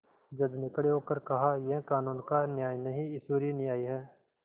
जज ने खड़े होकर कहायह कानून का न्याय नहीं ईश्वरीय न्याय है